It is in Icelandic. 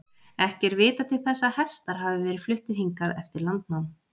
Ekki er vitað til þess að hestar hafi verið fluttir hingað eftir landnám.